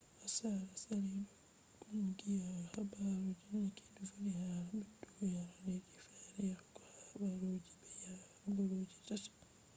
aseere sali ɗo kungiya habaru je neked voli hala ɓeddugo yare leddi fere yahugo habaruji be habaruji tati